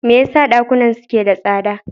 Me yasa dakunan suke da tsada?